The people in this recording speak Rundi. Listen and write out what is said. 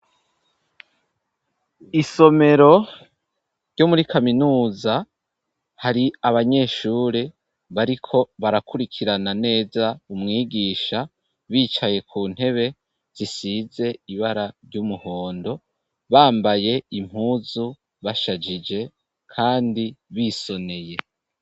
Isomero ryo muri kaminuza, hari abanyeshure, bariko barakurikirana neza umwigisha, bicaye ku ntebe, zisize ibara ry'umuhondo, bambaye impuzu, bashajije, kandi bisoneye.